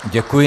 Děkuji.